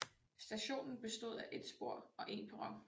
Stationen bestod af et spor og en perron